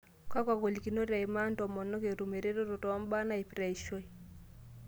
Kakwa golikinoto eimaa ntomonok etum eretoto too mbaa naipirta eishoi?